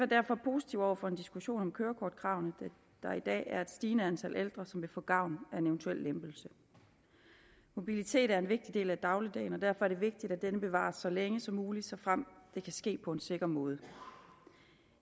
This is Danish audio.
derfor positive over for en diskussion om kørekortkravene da der i dag er et stigende antal ældre som vil få gavn af en eventuel lempelse mobilitet er en vigtig del af dagligdagen og derfor er det vigtigt at denne bevares så længe som muligt såfremt det kan ske på en sikker måde